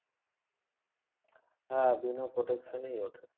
হ্যাঁ বিনা protection এই ওঠে।